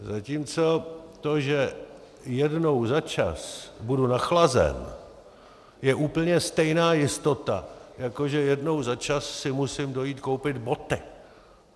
Zatímco to, že jednou za čas budu nachlazen, je úplně stejná jistota, jako že jednou za čas si musím dojít koupit boty.